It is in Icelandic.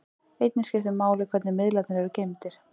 Einnig skiptir máli hvernig miðlarnir eru geymdir.